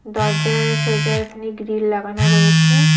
দরজার সোজা এখানে গ্রিল লাগানো রয়েছে।